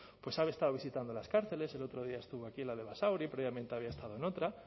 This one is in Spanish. pues han estado visitando las cárceles el otro día estuvo aquí en la de basauri previamente había estado en otra